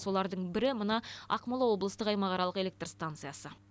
солардың бірі мына ақмола облыстық аймақаралық электр станциясы